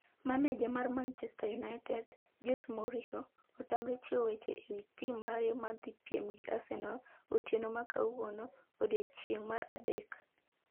Maneja mar Manchester United, Jose Mourinho, otamre chiwo weche ewi tim mare madhipiem gi Arsenal, otieno ma kawuono, odiechieng' mar adek.